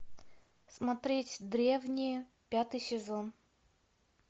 смотреть древние пятый сезон